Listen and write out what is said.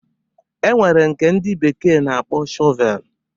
E nwere nke ndị bekee na-akpọ Shọvelu.